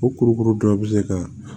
O kurukuru dɔ bɛ se ka